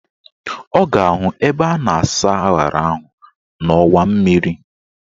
Ọ ga-ahụ ebe a na-asa aṅara ahụ n'ọnwa mmiri